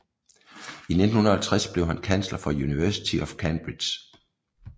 I 1950 blev han kansler for University of Cambridge